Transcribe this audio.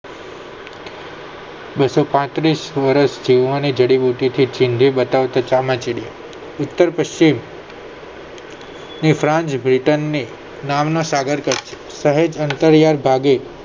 બસો પાત્રીસ વર્ષ જીવવાની જડીબુટ્ટી થી ચીંધી બતાવતું ચામાંડીયું ઉત્તર પશ્ચિમ ની ફ્રાંસ બ્રિટન ની નામ ના સાગરતટ શહેજ અંતર્યાય ભાગે